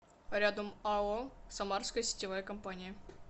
рядом ао самарская сетевая компания